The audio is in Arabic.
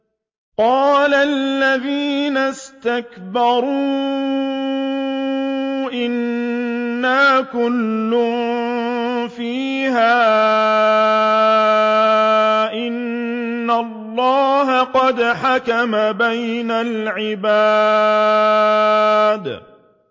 قَالَ الَّذِينَ اسْتَكْبَرُوا إِنَّا كُلٌّ فِيهَا إِنَّ اللَّهَ قَدْ حَكَمَ بَيْنَ الْعِبَادِ